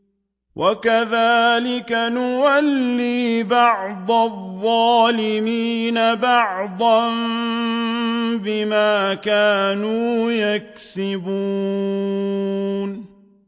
وَكَذَٰلِكَ نُوَلِّي بَعْضَ الظَّالِمِينَ بَعْضًا بِمَا كَانُوا يَكْسِبُونَ